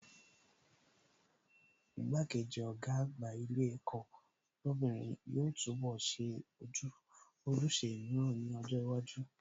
Igbá-kejì Ọ̀gá àgbà ilé ẹ̀kọ́ lóbìnrin yóò túnbọ̀ ṣe ojúṣe mìíràn ní ọjọ́ iwájú